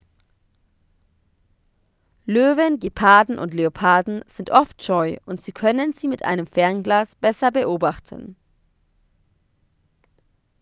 löwen geparden und leoparden sind oft scheu und sie können sie mit einem fernglas besser beobachten